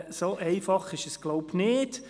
So einfach ist es, glaube ich, nicht.